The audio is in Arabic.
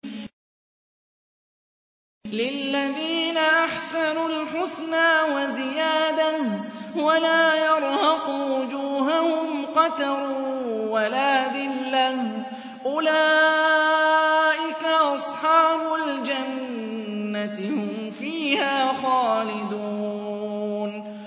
۞ لِّلَّذِينَ أَحْسَنُوا الْحُسْنَىٰ وَزِيَادَةٌ ۖ وَلَا يَرْهَقُ وُجُوهَهُمْ قَتَرٌ وَلَا ذِلَّةٌ ۚ أُولَٰئِكَ أَصْحَابُ الْجَنَّةِ ۖ هُمْ فِيهَا خَالِدُونَ